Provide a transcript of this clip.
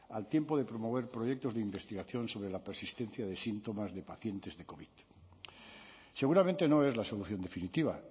al tiempo de promover proyectos de investigación sobre la persistencia de síntomas de pacientes de covid seguramente no es la solución definitiva